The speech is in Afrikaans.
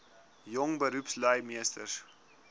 jong beroepslui meesters